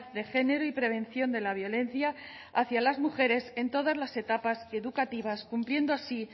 de género y prevención de la violencia hacia las mujeres en todas las etapas educativas cumpliendo así